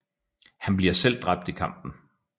Han bliver selv dræbt i kampen